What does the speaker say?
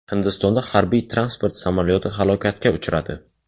Hindistonda harbiy-transport samolyoti halokatga uchradi.